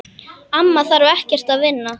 Amma þarf ekkert að vinna.